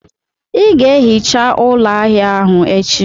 Ị ga-ehicha ụlọ ahịa ahụ echi!